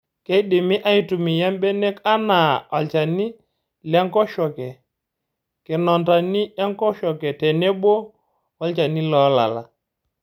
Keidimi aitumiya mbenek anaa olchani lenkoshoke, kinonandani enkoshoke tenebo olchni loolala.